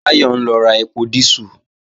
Báyọ̀ ń lọ ra ẹpo dísù